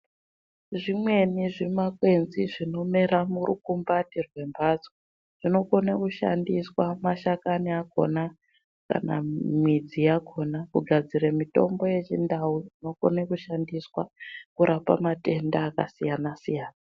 Zvimweni zvimakwenzi zvinomera murikumbati mwemhatso zvinokone kushandiswa mashakani akona kana midzi yakhona kugadzire mitombo yechindai inokne kushandiswa kurape matenda akasiyana siyana.